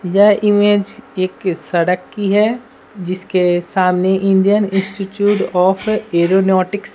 यह इमेज एक सड़क की है जिसके सामने इंडियन इंस्टिट्यूट ऑफ एरोनाउटिक्स --